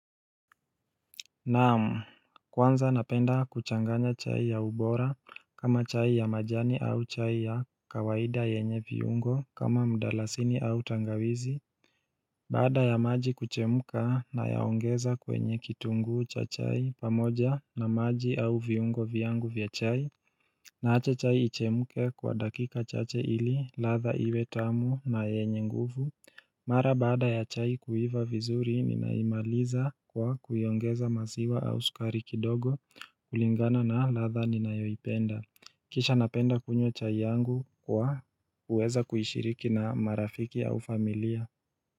Naam kwanza napenda kuchanganya chai ya ubora kama chai ya majani au chai ya kawaida yenye viungo kama mdalasini au tangawizi Baada ya maji kuchemka nayaongeza kwenye kitunguu cha chai pamoja na maji au viungo vyangu vya chai Naacha chai ichemke kwa dakika chache ili latha iwe tamu na yenye nguvu Mara baada ya chai kuiva vizuri ninaimaliza kwa kuongeza maziwa au sukari kidogo kulingana na latha ninayoipenda Kisha napenda kunywa chai yangu kwa kuweza kuishiriki na marafiki au familia.